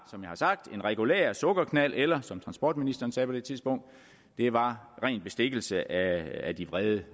som jeg har sagt en regulær sukkerknald eller som transportministeren sagde på det tidspunkt det var ren bestikkelse af de vrede